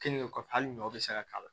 Keninge kɔfɛ hali ɲɔw bɛ se ka k'a la